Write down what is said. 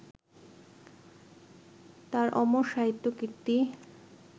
তাঁর অমর সাহিত্যকীর্তি